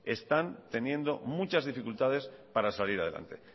están teniendo muchas dificultades para salir adelante